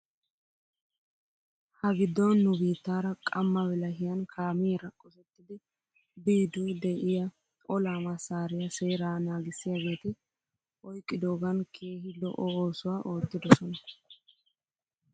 Ha giddon nu biittaara qamma bilahiyan kaamiyaara qosettidi biidu de'iyaa olaa massaariyaa seeraa naagissiyaageeti oyqqidoogan keehi lo'o oosuwaa oottidosona .